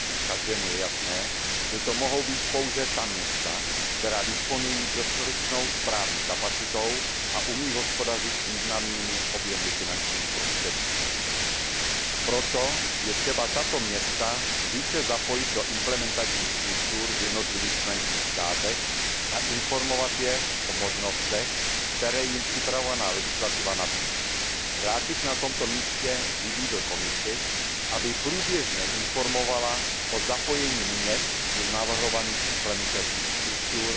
Každému je jasné, že to mohou být pouze ta města, která disponují dostatečnou správní kapacitou a umí hospodařit s významnými objemy finančních prostředků. Proto je třeba tato města více zapojit do implementačních struktur v jednotlivých členských státech a informovat je o možnostech, které jim připravovaná legislativa nabízí. Rád bych na tomto místě vybídl Komisi, aby průběžně informovala o zapojení měst do navrhovaných implementačních struktur